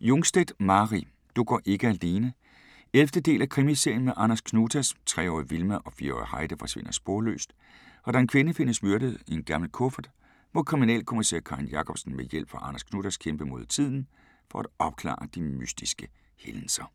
Jungstedt, Mari: Du går ikke alene 11. del af Krimiserien med Anders Knutas. Tre-årige Vilma og fire-årige Heidi forsvinder sporløst og da en kvinde findes myrdet i en gammel kuffert, må kriminalkommissær Karin Jacobsson med hjælp fra Anders Knutas kæmpe mod tiden for at opklare de mystiske hændelser.